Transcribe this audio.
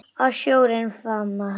Að sjórinn faðmi hana.